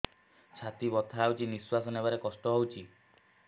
ଛାତି ବଥା ହଉଚି ନିଶ୍ୱାସ ନେବାରେ କଷ୍ଟ ହଉଚି